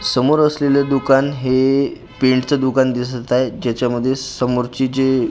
समोर असलेलं दुकान हे पेंटचं दुकान दिसत आहे जाच्यामध्ये समोरचे जे भिंत --